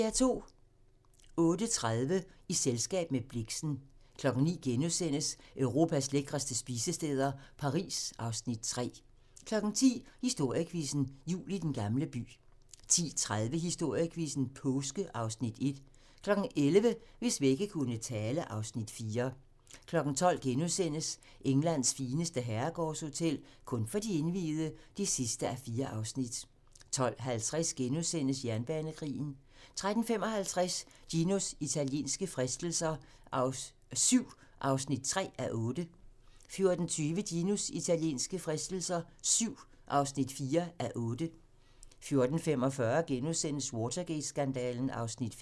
08:30: I selskab med Blixen 09:00: Europas lækreste spisesteder - Paris (Afs. 3)* 10:00: Historiequizzen: Jul i Den Gamle By 10:30: Historiequizzen: Påske (Afs. 1) 11:00: Hvis vægge kunne tale (Afs. 4) 12:00: Englands fineste herregårdshotel - kun for de indviede (4:4)* 12:50: Jernbanekrigen * 13:55: Ginos italienske fristelser VII (3:8) 14:20: Ginos italienske fristelser VII (4:8) 14:45: Watergate-skandalen (Afs. 5)*